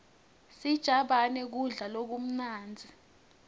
sijabane kudla lokumnandzi